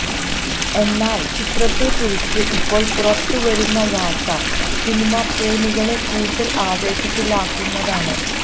എന്നാൽ ചിത്രത്തെക്കുറിച്ച് ഇപ്പോൾ പുറത്തുവരുന്ന വാർത്ത സിനിമ പ്രേമികളെ കൂടുതൽ ആവേശത്തിലാക്കുന്നതാണ്